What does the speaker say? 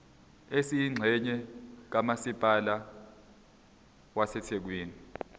esiyingxenye kamasipala wasethekwini